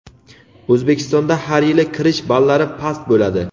O‘zbekistonda har yili kirish ballari past bo‘ladi.